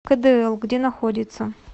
кэдээл где находится